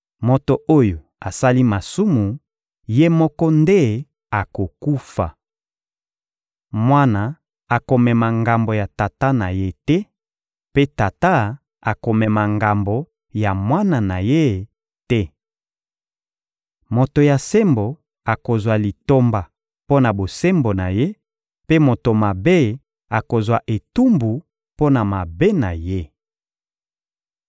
Moto oyo asali masumu, ye moko nde akokufa. Mwana akomema ngambo ya tata na ye te, mpe tata akomema ngambo ya mwana na ye te. Moto ya sembo akozwa litomba mpo na bosembo na ye, mpe moto mabe akozwa etumbu mpo na mabe na ye.